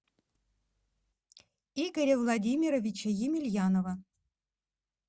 игоря владимировича емельянова